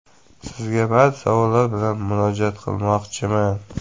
Sizga ba’zi savollar bilan murojaat qilmoqchiman.